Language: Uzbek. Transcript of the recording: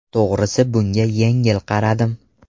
To‘g‘risi bunga yengil qaradim.